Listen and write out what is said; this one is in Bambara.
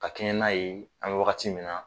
Ka kɛɲɛ n'a ye an bɛ wagati min na.